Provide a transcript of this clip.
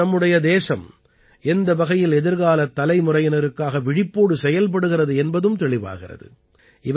மேலும் நம்முடைய தேசம் எந்த வகையில் எதிர்காலத் தலைமுறையினருக்காக விழிப்போடு செயல்படுகிறது என்பதும் தெளிவாகிறது